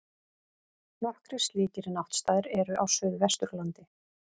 Nokkrir slíkir náttstaðir eru á Suðvesturlandi.